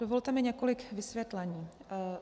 Dovolte mi několik vysvětlení.